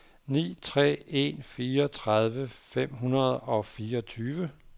ni tre en fire tredive fem hundrede og fireogtyve